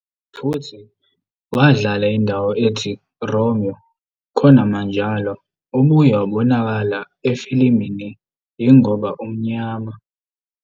futhi wadlala indawo ethi 'Romeo'. Khonamanjalo, ubuye wabonakala efilimini "Yingoba Umnyama".